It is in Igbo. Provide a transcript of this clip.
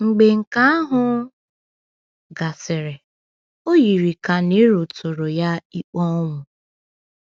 Mgbe nke ahụ gasịrị, o yiri ka Nero tụrụ ya ikpe ọnwụ.